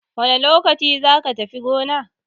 Wane lokaci zaka tafi goma?